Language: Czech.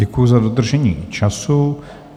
Děkuji za dodržení času.